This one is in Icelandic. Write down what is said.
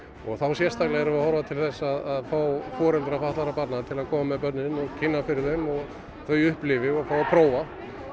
og þá sérstaklega erum við að horfa til þess að fá foreldra fatlaðra barna að koma með börnin og kynna fyrir þeim og þau upplifi og fái að prófa